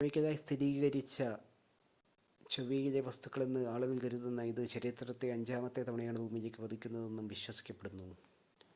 കെമിക്കലായി സ്ഥിരീകരിച്ച ചൊവ്വയിലെ വസ്തുക്കളെന്ന് ആളുകൾ കരുതുന്ന ഇത് ചരിത്രത്തിൽ അഞ്ചാമത്തെ തവണയാണ് ഭൂമിയിലേക്ക് പതിക്കുന്നതെന്ന് വിശ്വസിക്കപ്പെടുന്നു